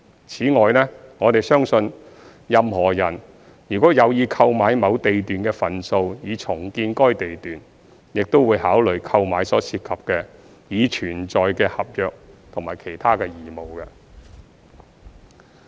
此外，我們相信任何人如有意購買某地段的份數以重建該地段，亦會考慮購買所涉及的已存在的合約及其他義務。